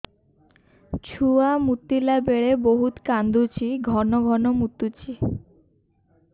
ଛୁଆ ମୁତିଲା ବେଳେ ବହୁତ କାନ୍ଦୁଛି ଘନ ଘନ ମୁତୁଛି